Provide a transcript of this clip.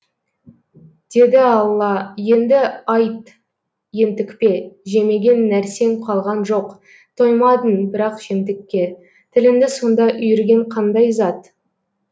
деді алла енді айт ентікпе жемеген нәрсең қалған жоқ тоймадың бірақ жемтікке тіліңді сонда үйірген қандай зат